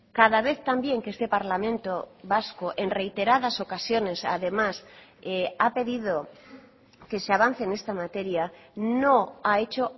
cada vez también que este parlamento vasco en reiteradas ocasiones además ha pedido que se avance en esta materia no ha hecho